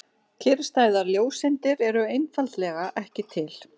Kyrrstæðar ljóseindir eru einfaldlega ekki til.